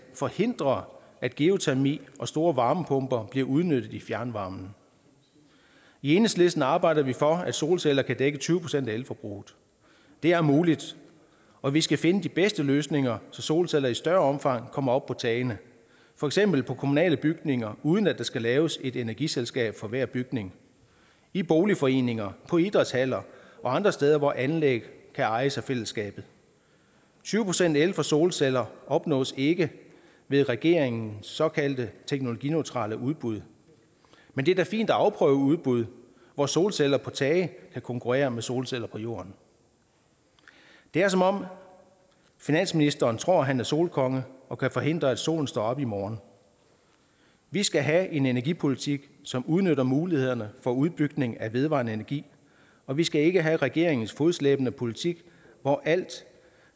forhindrer at geotermi og store varmepumper bliver udnyttet i fjernvarmen i enhedslisten arbejder vi for at solceller kan dække tyve procent af elforbruget det er muligt og vi skal finde de bedste løsninger så solceller i større omfang kommer op på tagene for eksempel på kommunale bygninger uden at der skal laves et energiselskab for hver bygning i boligforeninger på idrætshaller og andre steder hvor anlæg kan ejes af fællesskabet tyve procent el fra solceller opnås ikke med regeringens såkaldte teknologineutrale udbud men det er da fint at afprøve udbud hvor solceller på tage kan konkurrere med solceller på jorden det er som om finansministeren tror at han er solkonge og kan forhindre at solen står op i morgen vi skal have en energipolitik som udnytter mulighederne for udbygning af vedvarende energi og vi skal ikke have regeringens fodslæbende politik hvor alt